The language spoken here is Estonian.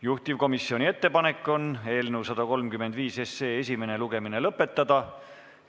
Juhtivkomisjoni ettepanek on eelnõu 135 esimene lugemine lõpetada.